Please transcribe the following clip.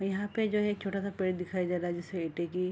यहाँ पे जो है एक छोटा-सा पेड़ दिखाई दे रहा है जिसपे ईंटे की --